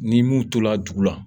Ni mun tora dugu la